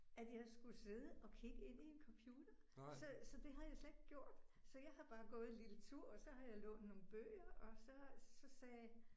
At jeg skulle sidde og kigge ind i en computer. Så så det har jeg slet ikke gjort. Så jeg har bare gået en lille tur og så har jeg lånt nogle bøger og så så sagde